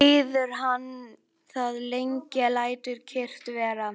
Líður hann það lengi, lætur kyrrt vera.